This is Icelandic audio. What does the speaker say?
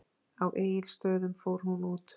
Á Egilsstöðum fór hún út.